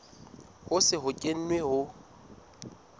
ho se ho kenwe ho